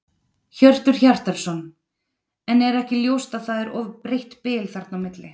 Hjörtur Hjartarson: En er ekki ljóst að það er of breitt bil þarna á milli?